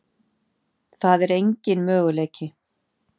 Það er engin möguleiki.